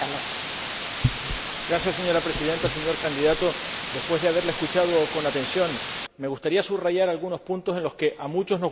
Señora Presidenta, señor candidato, después de haberle escuchado con atención, me gustaría subrayar algunos puntos en los que a muchos nos gustaría estar de acuerdo con usted.